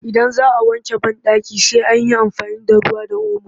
Idan za a wanke banɗaki sai an yi amfani da ruwa da omo